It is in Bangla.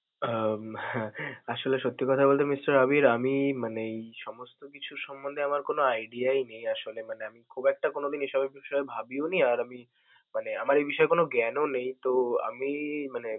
উম হ্যাঁ! আসলে সত্যি কথা বলতে Mr. আবির, আমি মানে এই সমস্ত কিছু সম্বন্ধে আমার কোন idea ই নেই আসলে মানে আমি খুব একটা কোনদিন এসব বিষয়ে ভাবিওনি, আর আমি মানে আমার এ বিষয় নিয়ে কোন জ্ঞানও নেই তো আমি মানে